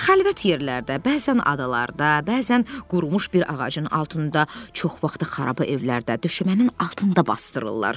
Xəlvət yerlərdə, bəzən adalarda, bəzən qurumuş bir ağacın altında, çox vaxtı xaraba evlərdə, düşmənin altında basdırırlar.